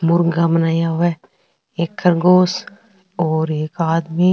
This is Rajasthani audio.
मुर्गा बनाया हुआ है एक खरगोश और एक आदमी।